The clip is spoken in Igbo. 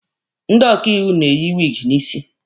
Ndị ọkaiwu na-eyi wiigi n'isi.